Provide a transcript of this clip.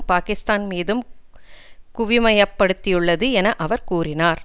பாகிஸ்தான் மீதும் குவிமையப்படுத்தியுள்ளது என அவர் கூறினார்